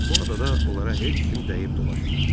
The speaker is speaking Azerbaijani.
Bu adada onlara heç kim dəyib dolaşmırdı.